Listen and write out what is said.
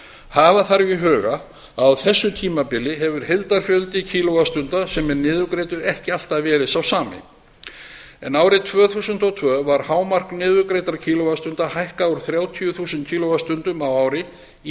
hafa þarf í huga að á þessu tímabili hefur heildarfjöldi kíló vattstunda sem er niðurgreiddur ekki alltaf verið sá sami árið tvö þúsund og tvö var hámark niðurgreiddra kíló vattstunda hækkað úr þrjátíu þúsund kíló vattstundum á ári í